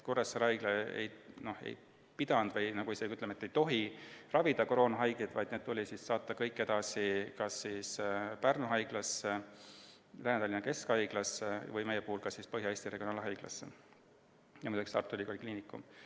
Kuressaare Haigla ei pidanud või isegi, ütleme, ei tohtinud ravida koroonahaigeid, vaid kõik tuli saata edasi kas Pärnu Haiglasse, Lääne-Tallinna Keskhaiglasse, meie puhul ka Põhja-Eesti Regionaalhaiglasse või Tartu Ülikooli Kliinikumi.